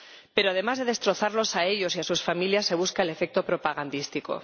Pero, además de destrozarlos a ellos y a sus familias, buscan el efecto propagandístico.